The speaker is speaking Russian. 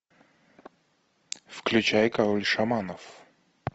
включай король шаманов